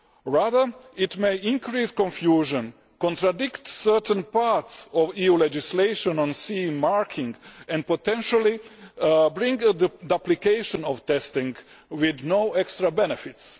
Rather, it may increase confusion, contradict certain parts of EU legislation on CE marking and, potentially, bring the application of testing with no extra benefits.